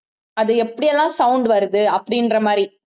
அது எப்படி எல்லாம் sound வருது அப்படின்ற மாதிரி